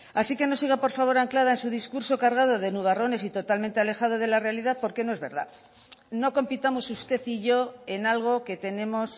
así que no siga por favor anclada en su discurso cargado de nubarrones y totalmente alejada de la realidad porque no es verdad no compitamos usted y yo en algo que tenemos